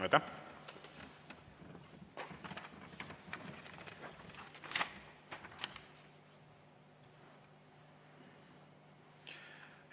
Aitäh!